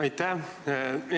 Aitäh!